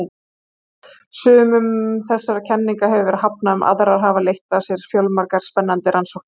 Sumum þessara kenninga hefur verið hafnað en aðrar hafa leitt af sér fjölmargar spennandi rannsóknir.